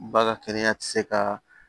Ba ka kɛnɛya tɛ se ka